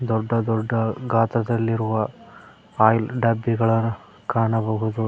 ದೊಡ್ಡ ದೊಡ್ಡ ಗಾತ್ರದಲ್ಲಿರುವ ಆಯಿಲ್ ಡಬ್ಬಿ ಗಳ ಕಾಣಬಹುದು.